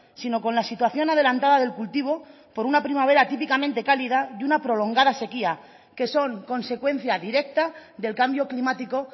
sino con la situación adelantada del cultivo con una primavera típicamente cálida y una prolongada sequía que son consecuencia directa del cambio climático